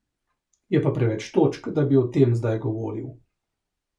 Je pa preveč točk, da bi o tem zdaj govoril.